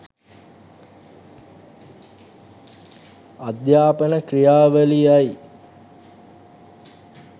අධ්‍යාපන ක්‍රියාවලිය යි.